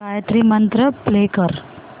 Gayatri Mantra play कर